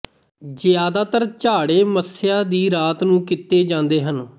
ਜਿਆਦਾਤਰ ਝਾੜੇ ਮੱਸਿਆ ਦੀ ਰਾਤ ਨੂੰ ਕੀਤੇ ਜਾਂਦੇ ਹਨ